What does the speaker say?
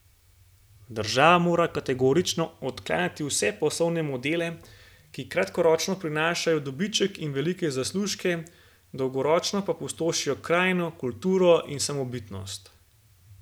Država mora kategorično odklanjati vse poslovne modele, ki kratkoročno prinašajo dobiček in velike zaslužke, dolgoročno pa pustošijo krajino, kulturo in samobitnost.